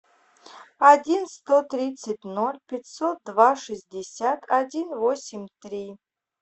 один сто тридцать ноль пятьсот два шестьдесят один восемь три